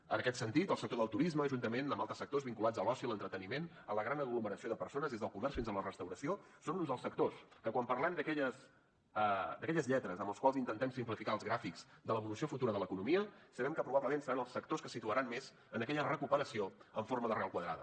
en aquest sentit el sector del turisme juntament amb altres sectors vinculats a l’oci i l’entreteniment a la gran aglomeració de persones des del comerç fins a la restauració són uns dels sectors que quan parlem d’aquelles lletres amb les quals intentem simplificar els gràfics de l’evolució futura de l’economia sabem que probablement seran els sectors que se situaran més en aquella recuperació en forma d’arrel quadrada